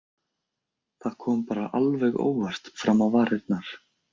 Það kom bara alveg óvart fram á varirnar.